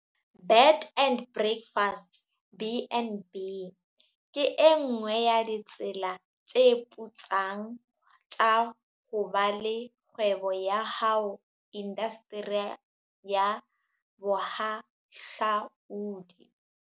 Bed and breakfast, BnB, ke e nngwe ya ditsela tse putsang tsa ho ba le kgwebo ya hao indasteri ya bohahlaudi.